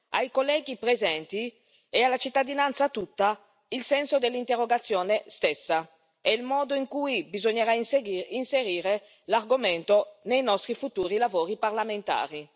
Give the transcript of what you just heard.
ai colleghi presenti e alla cittadinanza tutta il senso dell'interrogazione stessa e il modo in cui bisognerà inserire l'argomento nei nostri futuri lavori parlamentari.